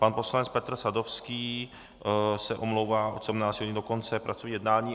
Pan poslanec Petr Sadovský se omlouvá od 17 do konce pracovního jednání.